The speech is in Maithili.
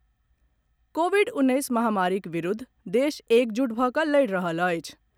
कोविड उन्नैस महामारीक विरुद्ध देश एकजुट भऽ कऽ लड़ि रहल अछि।